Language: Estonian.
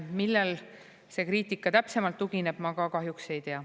Millel see kriitika täpsemalt tugineb, ma ka kahjuks ei tea.